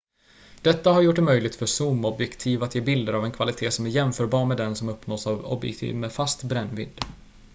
detta har gjort det möjligt för zoomobjektiv att ge bilder av en kvalitet som är jämförbar med den som uppnås av objektiv med fast brännvidd